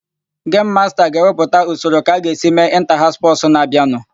Gemu masta ga-ewepụta usoro ka a ga-esi mee ịnta-haụs spọsụ na-abịanụ.